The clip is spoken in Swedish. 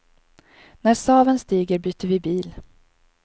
När saven stiger byter vi bil.